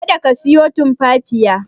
Kada ka siyo Tumfafiya.